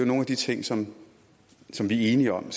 nogle af de ting som vi er enige om